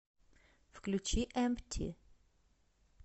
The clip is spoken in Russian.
включи эмпти